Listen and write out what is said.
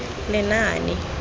lenaane